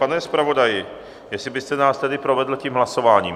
Pane zpravodaji, jestli byste nás tedy provedl tím hlasováním.